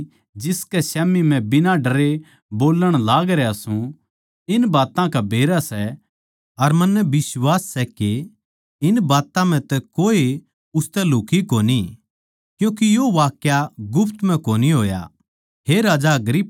राजा भी जिसकै स्याम्ही मै बिना डरे बोल्लण लागरया सूं इन बात्तां का बेरा सै अर मन्नै बिश्वास सै के इन बात्तां म्ह तै कोए उसतै लुक्ही कोनी क्यूँके यो वाक्या गुप्त म्ह कोनी होया